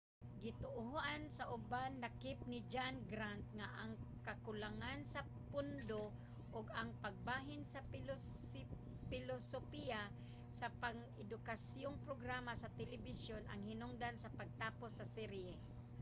gituohan sa uban lakip ni john grant nga ang kakulangan sa pondo ug ang pagbalhin sa pilosopiya sa pang-edukasyong programa sa telebisyon ang hinungdan sa pagtapos sa serye